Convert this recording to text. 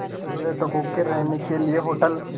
पर्यटकों के रहने के लिए होटल